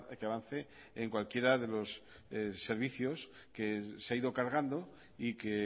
que avance en cualquiera de los servicios que se ha ido cargando y que